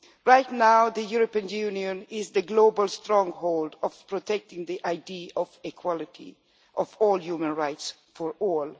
Right now, the European Union is the global stronghold protecting the idea of equality of human rights for all.